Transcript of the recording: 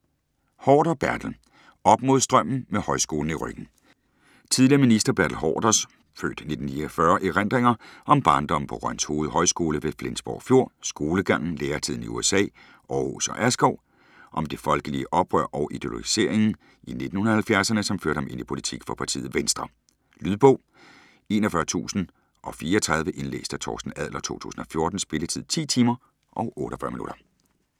Haarder, Bertel: Op mod strømmen: med højskolen i ryggen Tidligere minister Bertel Haarders (f. 1944) erindringer om barndommen på Rønshoved Højskole ved Flensborg Fjord, skolegangen, læretiden i USA, Aarhus og Askov, om de folkelige oprør og ideologiseringen i 1970'erne som førte ham ind i politik for partiet Venstre. Lydbog 41034 Indlæst af Torsten Adler, 2014. Spilletid: 10 timer, 48 minutter.